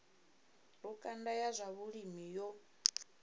lukanda ya zwa vhulimi yo